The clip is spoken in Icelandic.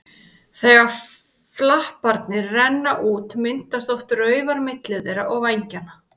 Þegar flaparnir renna út myndast oft raufar milli þeirra og vængjanna.